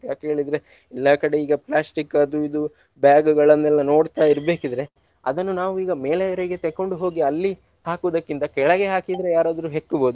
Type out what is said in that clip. ಯಾಕೆ ಹೇಳಿದ್ರೆ ಎಲ್ಲಾ ಕಡೆ ಈಗ plastic ಅದು ಇದು bag ಗಳನ್ನೆಲ್ಲಾ ನೋಡ್ತಾ ಇರ್ಬೇಕಿದ್ರೆ ಅದನ್ನು ನಾವೀಗ ಮೇಲೆಯವರೆಗೆ ತೆಕೊಂಡು ಹೋಗಿ ಅಲ್ಲಿ ಹಾಕುವುದಕ್ಕಿಂತ ಕೆಳಗೆ ಹಾಕಿದ್ರೆ ಯಾರಾದ್ರೂ ಹೆಕ್ಕ್ಬೋದು.